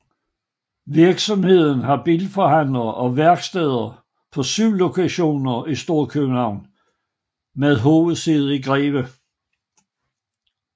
Virksomheden har bilforhandlere og værksteder på syv lokationer i Storkøbenhavn med hovedsæde i Greve